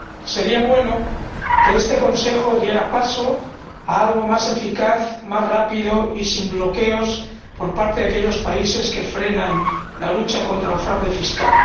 Sería bueno que este Consejo diera paso a algo más eficaz, más rápido y sin bloqueos por parte de aquellos países que frenan la lucha contra el fraude fiscal.